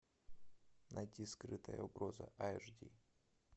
найти скрытая угроза аш ди